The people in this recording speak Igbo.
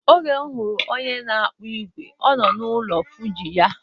Oge mụ fụrụ onye na akpụ igwe, ọ nọ n'ụlọ fọji ya.